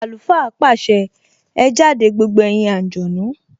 Àlùfáà pàṣẹ! Ẹ jáde gbogbo ẹ̀yin àǹjọ̀nú